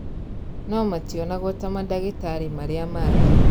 No mationagwo ta mandagĩtarĩ marĩa mangĩ